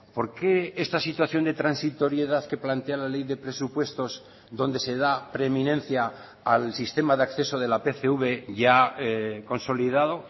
por qué esta situación de transitoriedad que plantea la ley de presupuestos donde se da preeminencia al sistema de acceso de la pcv ya consolidado